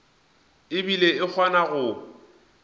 e bile e kgona go